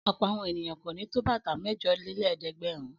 Ọ̀pọ̀ àwọn ènìyàn kò ní tó bàtà mẹ́jọlélẹ́ẹ̀dẹ́gbẹ̀rún.